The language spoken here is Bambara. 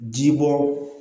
Ji bɔ